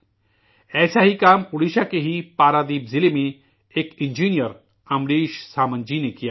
ایسا ہی کام اوڈیشہ کے ہی پردیپ ضلع میں ایک انجینئر امریش سامنت جی نے کیا ہے